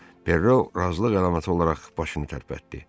Perro razılıq əlaməti olaraq başını tərpətdi.